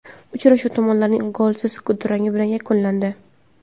Uchrashuv tomonlarning golsiz durangi bilan yakunlandi.